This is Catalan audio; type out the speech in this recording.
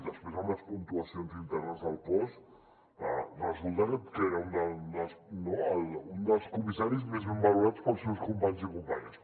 després amb les puntuacions internes del cos resulta que era un dels comissaris més ben valorats pels seus companys i companyes